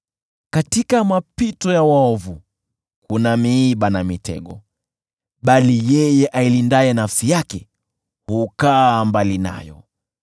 Katika mapito ya waovu kuna miiba na mitego, bali yeye ailindaye nafsi yake hukaa mbali nayo.